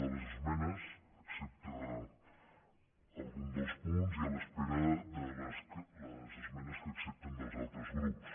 de les esme·nes excepte algun dels punts i a l’espera de les es·menes que acceptin dels altres grups